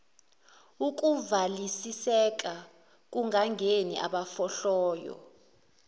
ukuvalisiseka kungangeni abafohlayo